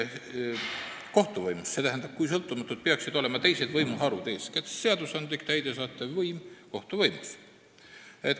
Ma ei ütle, kui sõltumatud meie kohtud on või ei ole, vaid küsin: kui sõltumatud peaksid olema teised võimuharud, eeskätt seadusandlik, täidesaatev võim kohtuvõimust?